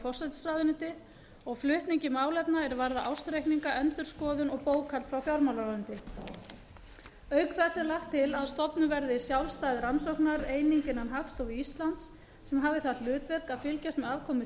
forsætisráðuneyti og flutningi málefna er varða ársreikninga endurskoðun og bókhald frá fjármálaráðuneyti auk þess er lagt til að stofnuð verði sjálfstæð rannsóknareining innan hagstofu íslands sem hafi það hlutverk að fylgjast með afkomu